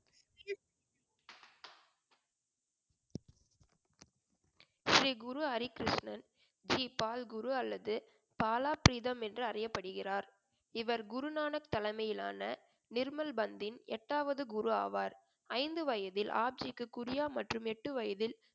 ஸ்ரீ குரு ஹரி கிருஷ்ணன் ஜி பால் குரு அல்லது பாலா பிரீதம் என்று அறியப்படுகிறார் இவர் குருநானக் தலைமையிலான நிர்மல் பந்தின் எட்டாவது குரு ஆவார் ஐந்து வயதில் ஆப்ஜிக்கு குறியா மற்றும் எட்டு வயதில்